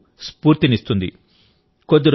మన యువతకు స్ఫూర్తినిస్తుంది